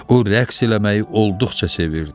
O rəqs eləməyi olduqca sevirdi.